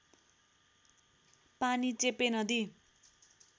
पानी चेपे नदी